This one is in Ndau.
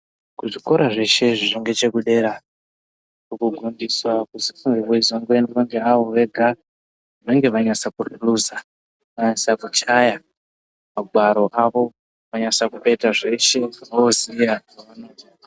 Kuzvikora zveshe zviri ngechekudera kunofundiswa kuti kunge kweizongoendwa ngeavo vega, vanenge vanyasa kuhluza, vanyasa kuchaya mangwaro avo, vanyasa kupedza zveshe voziya zvavanoita....